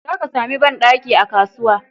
Zaka sami banɗaki a kasuwa.